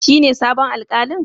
Shine sabon Alkalin?